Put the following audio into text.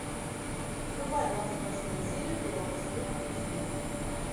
врубай двадцать восьмую серию первого сезона измены